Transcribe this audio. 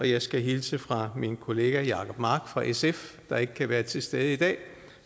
jeg skal hilse fra min kollega herre jacob mark fra sf der ikke kan være til stede i dag